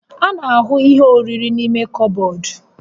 A na-ahụ ihe oriri n'ime kọbọd